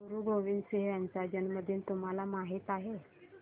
गुरु गोविंद सिंह यांचा जन्मदिन तुम्हाला माहित आहे